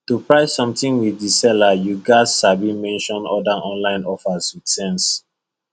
to price something with the seller you gats sabi mention other online offers with sense